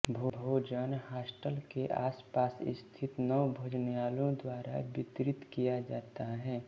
भोजन हॉस्टल के आसपास स्थित नौ भोजनालयों द्वारा वितरित किया जाता है